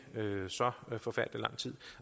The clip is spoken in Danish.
så forfærdelig lang tid